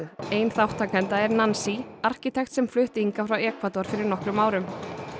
ein þátttakenda er arkitekt sem flutti hingað frá Ekvador fyrir nokkrum árum er